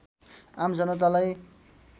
आम जनतालाई